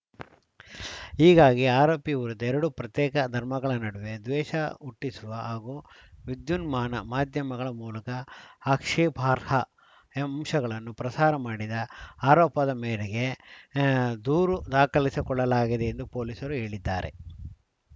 ಹೀಗಾಗಿ ಆರೋಪಿ ವಿರುದ್ಧ ಎರಡು ಪ್ರತ್ಯೇಕ ಧರ್ಮಗಳ ನಡುವೆ ದ್ವೇಷ ಹುಟ್ಟಿಸುವ ಹಾಗೂ ವಿದ್ಯುನ್ಮಾನ ಮಾಧ್ಯಮಗಳ ಮೂಲಕ ಆಕ್ಷೇಪಾರ್ಹ ಅಂಶಗಳನ್ನು ಪ್ರಸಾರ ಮಾಡಿದ ಆರೋಪದ ಮೇರೆಗೆ ಅ ದೂರು ದಾಖಲಿಸಿಕೊಳ್ಳಲಾಗಿದೆ ಎಂದು ಪೊಲೀಸರು ಹೇಳಿದ್ದಾರೆ